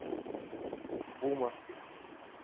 бума